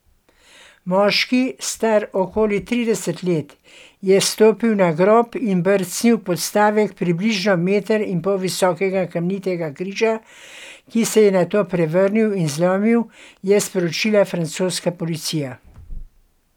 Moški, star okoli trideset let, je stopil na grob in brcnil podstavek približno meter in pol visokega kamnitega križa, ki se je nato prevrnil in zlomil, je sporočila francoska policija.